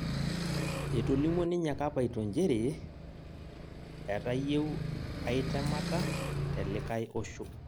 ETolimuo ninye Kapaito njere etayieu ai temata telikae osho